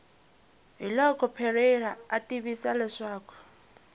hiloko parreira a tivisa leswaku